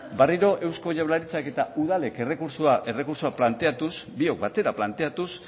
berriro eusko jaurlaritzak eta udalek errekurtsoa planteatuz biok batera planteatuz